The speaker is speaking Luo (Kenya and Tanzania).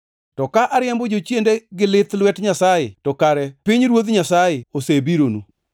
To ka ariembo jochiende gi lith lwet Nyasaye to kare pinyruoth Nyasaye osebironu.